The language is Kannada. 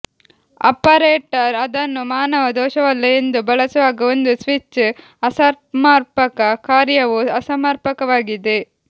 ಆಪರೇಟರ್ ಅದನ್ನು ಮಾನವ ದೋಷವಲ್ಲ ಎಂದು ಬಳಸುವಾಗ ಒಂದು ಸ್ವಿಚ್ ಅಸಮರ್ಪಕ ಕಾರ್ಯವು ಅಸಮರ್ಪಕವಾಗಿದೆ